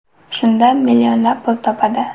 Shundan millionlab pul topadi.